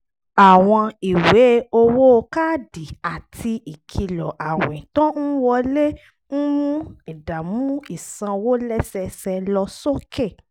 àwọn ìwé owó káàdì àti ìkìlọ̀ àwìn tó ń wọlé ń mú ìdààmú ìsanwó lẹ́sẹẹsẹ lọ sókè